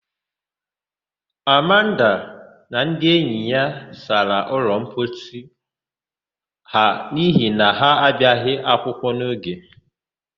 Amanda na ndị enyi ya sara ụlọmposi ha n'ihi na ha abịaghị akwụkwọ n'oge.